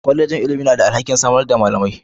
Kwallejin ilimi na da alhakin samar da malamai.